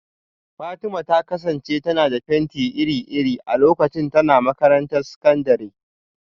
Fatima ta kasance tana da fenti iri-iri a lokacin tana makarantar sakandare